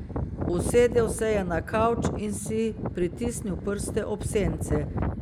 Usedel se je na kavč in si pritisnil prste ob sence.